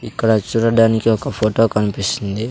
ఇక్కడ చూడడానికి ఒక ఫోటో కనిపిస్తుంది.